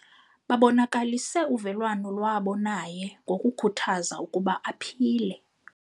Babonakalise uvelwano lwabo naye ngokukhuthaza ukuba aphile.